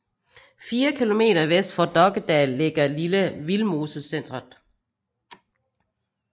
Fire kilometer vest for Dokkedal ligger Lille Vildmosecentret